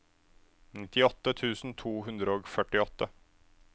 nittiåtte tusen to hundre og førtiåtte